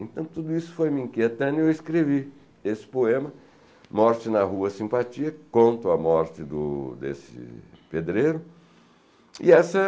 Então tudo isso foi me inquietando e eu escrevi esse poema, Morte na Rua Simpatia, que conta a morte do desse pedreiro. E essa